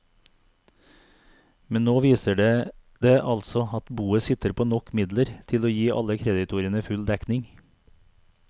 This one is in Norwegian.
Men nå viser det det altså at boet sitter på nok midler til å gi alle kreditorene full dekning.